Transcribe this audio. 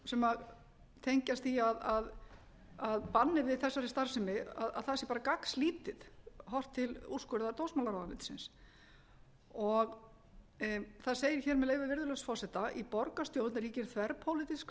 sem tengjast því að bannið við þessari starfsemi sé bara gagnslítið horft til úrskurðar dómsmálaráðuneytisins það segir hér með leyfi virðulegs forseta í borgarstjórn ríkir þverpólitísk